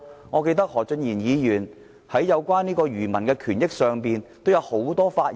我記得何俊賢議員在有關漁民權益上也曾踴躍發言。